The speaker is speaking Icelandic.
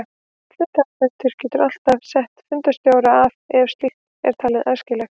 Hluthafafundur getur alltaf sett fundarstjóra af ef slíkt er talið æskilegt.